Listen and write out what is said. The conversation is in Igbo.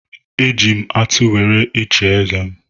E ji m atụ were chie eze m.